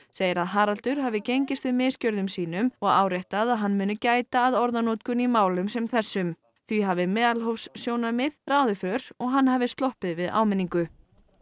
segir að Haraldur hafi gengist við misgjörðum sínum og áréttað að hann muni gæta að orðanotkun í málum sem þessum því hafi meðalhófssjónarmið ráðið för og hann hafi sloppið við áminningu